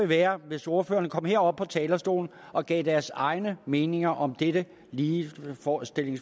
være hvis ordførerne kom herop på talerstolen og gav deres egne meninger om dette ligestillingsforslag